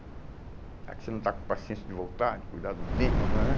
já que você não está com paciência de voltar, de cuidar dos dentes, nã nã nã